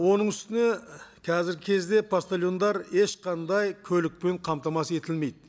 оның үстіне қазіргі кезде поштальондар ешқандай көлікпен қамтамасыз етілмейді